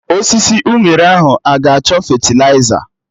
Osisi unere ahụ aga achọ fetịliza?